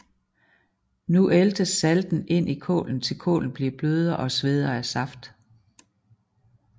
Nu æltes salten ind i kålen til kålen bliver blødere og sveder saft